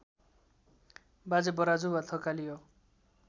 बाजे बराजु वा थकाली हो